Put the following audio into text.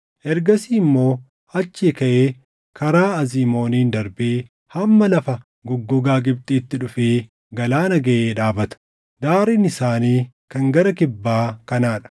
Ergasii immoo achii kaʼee karaa Azimooniin darbee hamma lafa goggogaa Gibxiitti dhufee galaana gaʼee dhaabata. Daariin isaanii kan gara kibbaa kanaa dha.